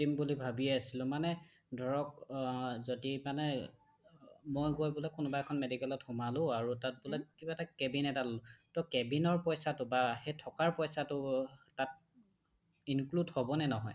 সুধিম বুলি ভাৱিয়ে আছিলো মানে ধৰক্ অ যদি মানে মই কোনোবা এখন medicalত গৈ সোমালো আৰু তাত বোলে কিবা এটা cabin এটা ললো তো cabin ৰ পইচাটো বা সেই থকাৰ পইচাটো অহ্ তাত include হ'বনে নহয় ?